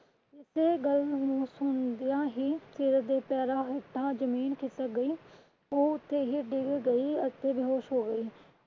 ਉਸੀ ਗੱਲ ਨੂੰ ਸੁਣਦਿਆਂ ਹੀ ਸੀਰਤ ਦੇ ਪੈਰਾਂ ਹੇਠਾਂ ਹੀ ਜ਼ਮੀਨ ਖਿਸਕ ਗਈ। ਉਹ ਓਥੇ ਹੀ ਡਿੱਗ ਗਈ ਅਤੇ ਬੇਹੋਸ਼ ਹੋ ਗਈ।